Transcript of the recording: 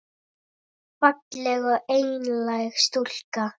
Falleg og einlæg stúlka.